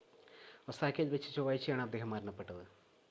ഒസാക്കയിൽ വച്ച് ചൊവ്വാഴ്ചയാണ് അദ്ദേഹം മരണപ്പെട്ടത്